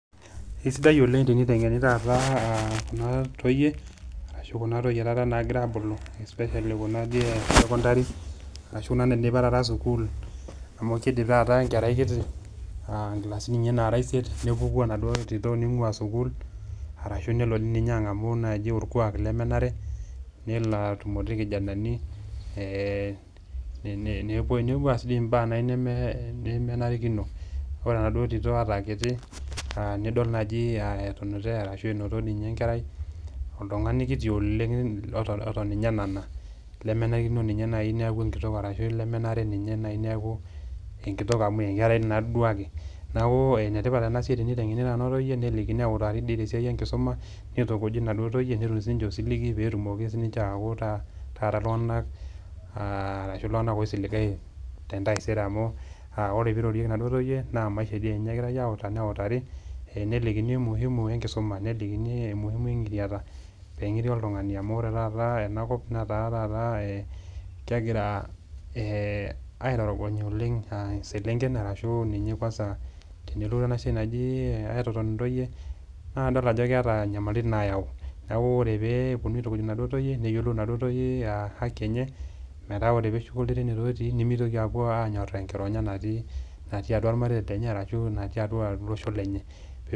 Kesidai oleng' teniteng'eni taata aa kuna toyie arashu kuna toyie taata nagira aabulu especially kuna dii e secondary, arashu kuna naidipa taata sukuul amu kiidip taata enkerai kiti aa nkilisani ninye nara isiet nepuku enaduo tito ning'ua sukuul arashu nelo ninye ang'amu naaji orkuak lemenare nelo atumore irkijanani, ee tene nepuo nepuo aas dii mbaa neme nemenarikino. Ore enaduo tito ata aa kiti a nidol naaji aa etunute arashu inoto ninye enkerai oltung'ani kiti oleng' loton oton ninye enana lemenarikino ninye nai neeku enkitok arashu lemenare ninye nai neeku enkitok amu enkerai naa tii duake. Neeku ene tipat ena siai teniteng'eni kuna toyie nelikini neutari dii tena siai enkisuma, nitukuji naduo toyie netum siinje osiligi peetumoki sininje aaku ta taata iltung'anak aa arashu iltung'anak oisiligayu te ntaisere amu aa ore piirorieki naduo toyie naa maisha dii enye egirai autaa neutari, nelikini muhimu enkisoma, nelikini umuhimu eng'iriata peeng'iri oltung'ani amu ore taata ena kop netaa taata kegira ee aitorogony oleng' aa selenken arashu ninye kwasa tenelotu ena siai naji ee aitoton intoyie naa idol ajo keeta nyamalitin naayau. Neeku ore pee eponunui aitukuj naduo toyie, neyiolou naduo toyie aa haki enye metaa ore peeshuko ilterenito ootii nemitoki aapuo aanyoraa eng'ironya natii natii atua irmareita lenye ashu natii atua olosho lenye pe..